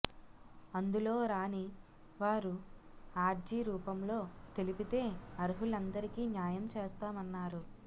అందులో రాని వారు ఆర్జీ రూపంలో తెలిపితే అర్హులందరికీ న్యాయం చేస్తామన్నారు